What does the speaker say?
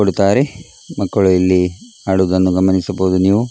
ಕೊಡುತ್ತಾರೆ ಮಕ್ಕಳು ಇಲ್ಲಿ ಆಡುವುದನ್ನು ಗಮನಿಸಬಹುದು ನೀವು .